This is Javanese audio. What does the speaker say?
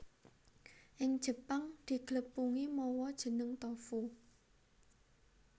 Ing Jepang diglepungi mawa jeneng tofu